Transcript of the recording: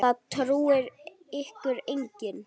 Það trúir ykkur enginn!